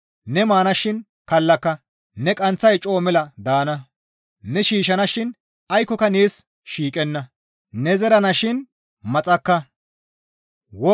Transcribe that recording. Ne maanashin kallaka; ne qanththay coo mela daana; Ne shiishshanashin aykkoka nees shiiqenna; Ne shiishshidayssa tani mashshasinne tooras aaththa immana.